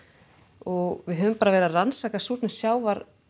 og við höfum bara verið að rannsaka súrnun sjávar